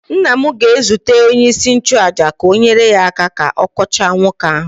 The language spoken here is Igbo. nna m ga-ezute onyeisi nchụaja ka o nyere ya aka ka ọ kọchaa nwoke ahụ